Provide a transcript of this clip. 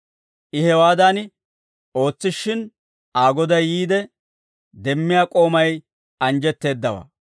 I hewaadan ootsishshin, Aa goday yiide demmiyaa k'oomay anjjetteeddaawaa.